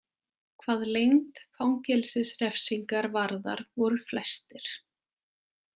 Hvað lengd fangelsisrefsingar varðar voru flestir.